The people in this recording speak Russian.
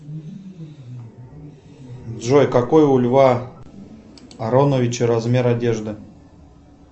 джой какой у льва ароновича размер одежды